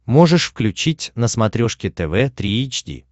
можешь включить на смотрешке тв три эйч ди